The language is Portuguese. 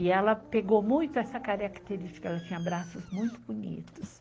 E ela pegou muito essa característica, ela tinha braços muito bonitos.